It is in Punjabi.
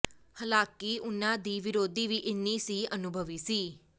ਹਾਲਾਂਕਿ ਉਨ੍ਹਾਂ ਦੀ ਵਿਰੋਧੀ ਵੀ ਇੰਨ੍ਹੀ ਹੀ ਅਨੁਭਵੀ ਸੀ